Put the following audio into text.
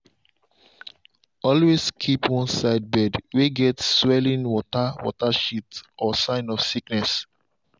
always keep one side bird way get swelling water water shit or sign of sickness.